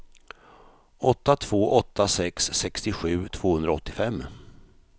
åtta två åtta sex sextiosju tvåhundraåttiofem